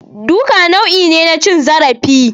Duka nau'i ne na cin zarafi